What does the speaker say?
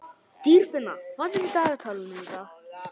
Dýrfinna, hvað er á dagatalinu í dag?